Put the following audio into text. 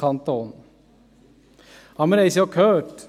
Wir haben es ja gehört: